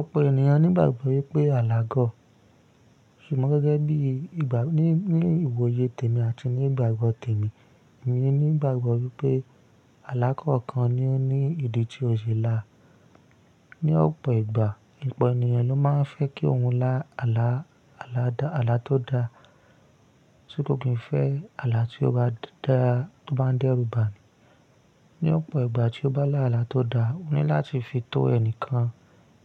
Ọ̀pọ̀ ènìyàn nígbàgbọ́ wípé alà gọ̀, ṣùgbọ́n gẹ́gẹ́ bí ní ìwòye tèmi àti ní ìgbàgbọ tèmi, emi ní ìgbàgbọ́ wípé alá kọ̀ọ́kan ni ó ní ìdí tí ó ṣe lá. Ni ọ̀pọ̀ ìgbà, ọ̀pọ̀ ènìyàn ló máa ń fẹ́ kí òhun lá àlá tó da, ṣo, ko kin fẹ́ alà tí ó bá dá tó bá ń dẹ́rùbà. Ni ọ̀pọ̀ ìgbà tí ó bá lá àlá tó da, ó ní láti fi tó ẹnìkan